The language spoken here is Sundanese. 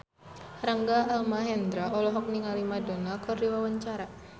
Rangga Almahendra olohok ningali Madonna keur diwawancara